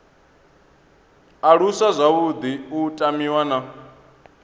aluswa zwavhuḓi u tamiwa na